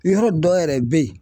Yɔrɔ dɔ yɛrɛ be ye